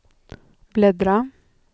bläddra